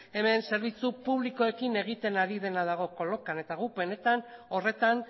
hemen zerbitzu publikoekin egiten ari dena dago kolokan eta gu benetan horretan